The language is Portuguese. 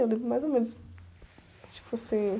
Eu lembro mais ou menos. Tipo assim